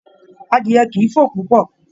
Adìẹ kìí fò púpọ̀